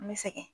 N bɛ sɛgɛn